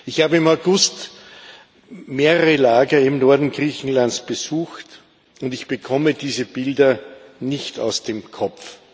Ich habe im August mehrere Lager im Norden Griechenlands besucht, und ich bekomme diese Bilder nicht aus dem Kopf.